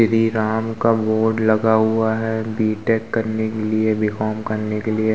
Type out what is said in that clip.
श्री राम का बोर्ड लगा हुआ है। बी.टेक करने के लिए बी.कॉम करने के लिए।